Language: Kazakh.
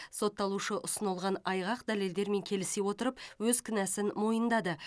сотталушы ұсынылған айғақ дәлелдермен келісе отырып өз кінәсін мойындады